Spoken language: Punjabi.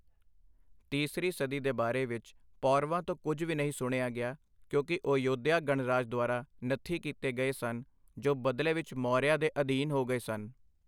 ਤੀਸਰੀ ਸਦੀ ਦੇ ਬਾਰੇ ਵਿੱਚ ਪੌਰਵਾਂ ਤੋਂ ਕੁੱਝ ਵੀ ਨਹੀਂ ਸੁਣਿਆ ਗਿਆ ਕਿਉਂਕਿ ਉਹ ਯੋਧਿਆ ਗਣਰਾਜ ਦੁਆਰਾ ਨੱਥੀ ਕੀਤੇ ਗਏ ਸਨ, ਜੋ ਬਦਲੇ ਵਿੱਚ ਮੌਰੀਆ ਦੇ ਅਧੀਨ ਹੋ ਗਏ ਸਨ।